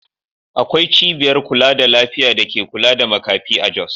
Akwai cibiyar kula da lafiya da ke kula da makafi a Jos.